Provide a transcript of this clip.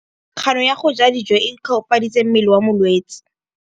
Kganô ya go ja dijo e koafaditse mmele wa molwetse.